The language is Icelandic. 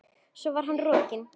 Svo var hann rokinn.